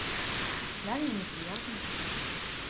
реально неприятно как бы